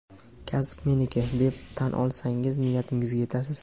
kasb meniki deb tan olsangiz niyatingizga yetasiz.